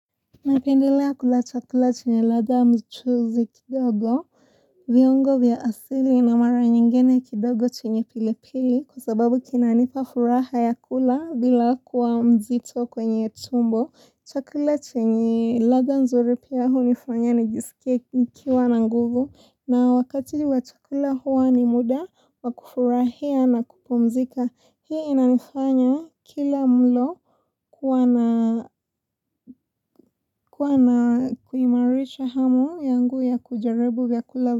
Napendelea kula chakula chenye ladha mchuzi kidogo, viungo vya asili na mara nyingine kidogo chenye pilipili kwa sababu kinanipa furaha ya kula bila kuwa mzito kwenye tumbo, chakula chenye ladha nzuri pia hunifanya nijisike kuwa na nguvu na wakati watukula huwa ni muda, wakufurahia na kupumzika. Hii inanifanya kila mlo kuwa na kuimarisha hamu yangu ya kujaribu vya kulabu.